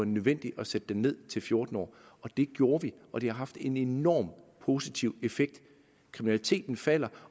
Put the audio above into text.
nødvendigt at sætte den ned til fjorten år det gjorde vi og det har haft en enormt positiv effekt kriminaliteten falder